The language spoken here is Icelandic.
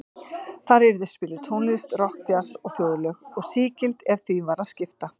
Þar yrði spiluð tónlist, rokk, djass og þjóðlög, og sígild ef því var að skipta.